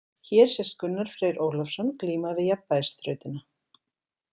Hér sést Gunnar Freyr Ólafsson glíma við jafnvægisþrautina.